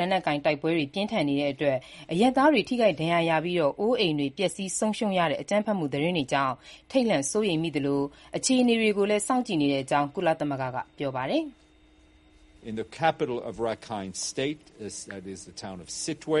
လက်နက်ကိုင် တိုက်ပွဲတွေ ပြင်းထန်နေချိန်အရပ်သားတွေ ထိခိုက်ဒဏ်ရာရပြီး အိုးအိမ်တွေ ပျက်ဆီးဆုံးရှုံးရတဲ့ အကြမ်းဖက်မှုသတင်းတွေနဲ့ ပတ်သက်လို့ ထိတ်လန့်စိုးရိမ်မိသလို အခြေအနေကို စောင့်ကြည့်နေတဲ့အကြောင်း ကုလသမဂ္ဂက ပြောဆိုပါတယ်။ "စစ်တွေ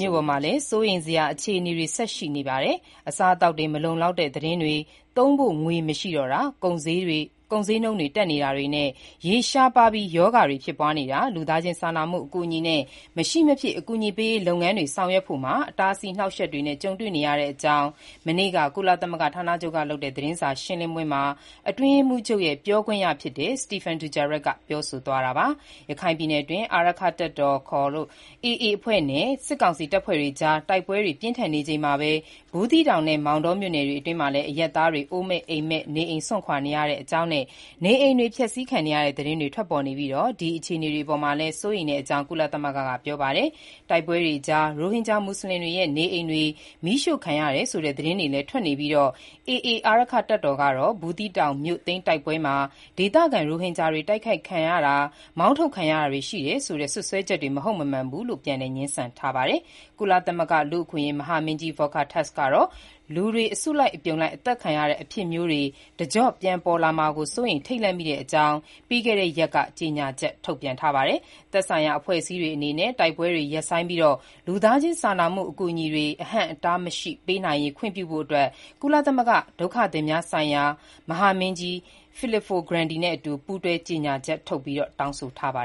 မြို့ပေါ်မှာလည်း စိုးရိမ်စရာအခြေအနေ ဆက်ပြီး ရှိနေပါတယ်။ အစားအသောက်တွေ မလုံလောက်တဲ့ သတင်းတွေ၊ သုံးဖို့ ငွေ မရှိတော့တောတာ၊ ကုန်ဈေးတွေ တက်နေတာတွေနဲ့၊ ရေရှားပါးပြီး ရောဂါတွေ ဖြစ်ပွားနေတာ၊ ပြည်နယ်တဝန်း လူသားချင်းစာနာမှု အကူအညီနဲ့ မရှိမဖြစ် အကူအညီပေးရေးလုပ်ငန်းတွေ ဆောင်ရွက်ဖို့မှာ အဟန့်အတား အနှောက်အယှက်တွေ ကြုံနေရပါတယ်" လို့ မနေ့က ကုလသမဂ္ဂဌာနချုပ် သတင်းစာရှင်းလင်းပွဲမှာ အတွင်းရေးမှူးချုပ်ရဲ့ ပြောခွင့်ရ Stéphane Dujarric ပြောဆိုသွားတာပါ။ ရခိုင်ပြည်နယ်အတွင်း အာရက္ခတပ်တော် ခေါ် AA အဖွဲ့နဲ့ စစ်ကောင်စီတပ်တွေအကြား တိုက်ပွဲတွေ ပြင်းထန်နေချိန်မှာပဲ ဘူးသီးတောင်နဲ့ မောင်တော်မြို့နယ်တွေအတွင်း အရပ်သားတွေ အိုးမဲ့အိမ်မဲ့ နေအိမ်စွန့်ခွာနေတဲ့အကြောင်းနဲ့ နေအိမ်တွေ ဖျက်ဆီးခံရတဲ့ သတင်းတွေ ထွက်ပေါ်နေပြီး ဒီအခြေအနေတွေ အပေါ်မှာလည်း စိုးရိမ်တဲ့အကြောင်း ကုလသမဂ္ဂက ပြောဆိုပါတယ်။ တိုက်ပွဲတွေကြား ရိုဟင်ဂျာ မူဆလင်တွေရဲ့ နေအိမ်တွေ မီးရှို့ခံရတယ်ဆိုတဲ့ သတင်းတွေလည်း ထွက်နေပြီး AA အာရက္ခတပ်တော် ကတော့ ဘူးသီးတောင်မြို့သိမ်း တိုက်ပွဲမှာ ဒေသခံ ရိုဟင်ဂျာတွေ တိုက်ခိုက်ခံရတာ မောင်းထုတ်ခံရတာတွေ ရှိခဲ့တယ်ဆိုတဲ့ စွပ်စွဲချက်တွေ မဟုတ်မမှန်ဘူးလို့ ပြန်လည် ငြင်းဆန်ထားပါတယ်။ ကုလသမဂ္ဂလူ့အခွင့်အရေး မဟာမင်းကြီး Volker Türk ကတော့ လူတွေ အစုလိုက် အသတ်ခံရတဲ့ အဖြစ်မျိုးတွေ တကျော့ပြန် ပြန်ပေါ်လာမှာ စိုးရိမ် ထိတ်လန့်မိတဲ့အကြောင်း ပြီးခဲ့တဲ့ရက်က ကြေညာချက် ထုတ်ပြန်ပါတယ်။ သက်ဆိုင်ရာ အဖွဲ့အစည်းတွေအနေနဲ့ တိုက်ပွဲတွေ ရပ်ဆိုင်းပြီး လူသားချင်းစာနာမှု အကူအညီတွေ အဟန့်အတားမရှိ ပေးနိုင်ရေး ခွင့်ပြုဖို့ ဒုက္ခသည်များဆိုင်ရာ ကုလသမဂ္ဂ မဟာမင်းကြီး Filippo Grandi နဲ့အတူ ပူးတွဲ ကြေညာချက်ထုတ် တောင်းဆိုထားပါ